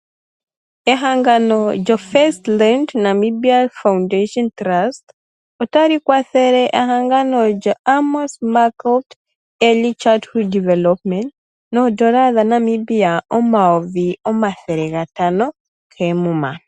Ehangano lyo FirstRand Namibia Foundation Trust otali kwathele ehangano lyoAmos Meerkat Early Childhood development noodola dhaNamibia omayovi omathele gatano koomuma.